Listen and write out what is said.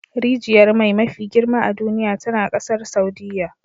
Rijiyar mai mafi girma a duniya tana kasar Saudiyya